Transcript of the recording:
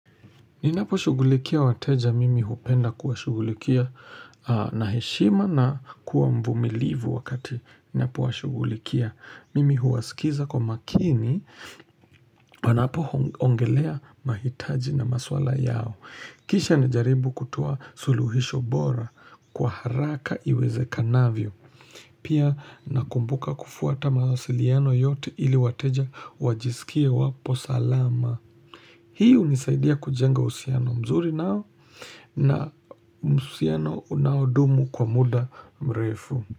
Ninaposhugulikia wateja mimi hupenda kuwashugulikia na heshima na kuwa mvumilivu wakati. Ninapowashughulikia mimi huwaskiza kwa makini wanapoongelea mahitaji na maswala yao. Kisha najaribu kutoa suluhisho bora kwa haraka iwezekanavyo. Pia nakumbuka kufuata mawasiliano yote ili wateja wajisikie wapo salama. Hii unisaidia kujenga usiano mzuri nao na uhusiano unaodumu kwa muda mrefu.